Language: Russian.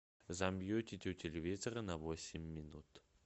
замьютить у телевизора на восемь минут